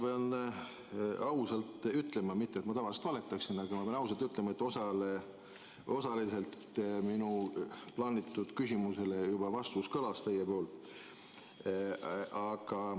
Ma pean ausalt ütlema – mitte et ma tavaliselt valetaksin, aga ma pean ausalt ütlema –, et osaliselt minu plaanitud küsimusele juba teie vastus kõlas.